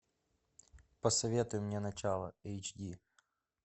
посоветуй мне начало эйч ди